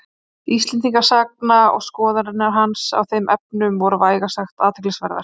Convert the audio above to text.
Íslendingasagna og skoðanir hans á þeim efnum voru vægast sagt athyglisverðar.